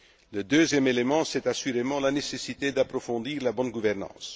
Le deuxième élément, c'est assurément la nécessité d'approfondir la bonne gouvernance.